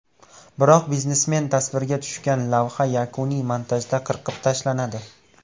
Biroq biznesmen tasvirga tushgan lavha yakuniy montajda qirqib tashlanadi.